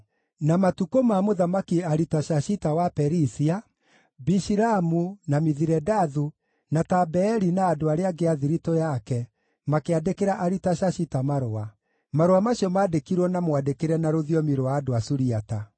Na matukũ ma Mũthamaki Aritashashita wa Perisia, na Bishilamu, na Mithiredathu, na Tabeeli na andũ arĩa angĩ a thiritũ yake makĩandĩkĩra Aritashashita marũa. Marũa macio maandĩkirwo na mwandĩkĩre na rũthiomi rwa andũ a Suriata.